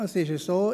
Es ist so: